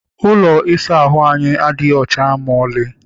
Ụlọ ịsa ahụ anyị adịghị ọcha maọlị.